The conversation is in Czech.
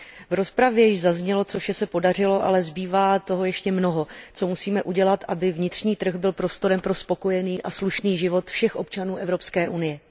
V rozpravě již zaznělo, co vše se podařilo, ale zbývá toho ještě mnoho, co musíme udělat, aby vnitřní trh byl prostorem pro spokojený a slušný život všech občanů Evropské unie.